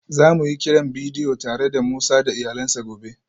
Za mu yi kiran bidiyo tare da Musa da iyalansa gobe